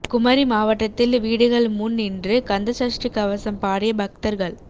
குமரி மாவட்டத்தில் வீடுகள் முன் நின்று கந்த சஷ்டி கவசம் பாடிய பக்தா்கள்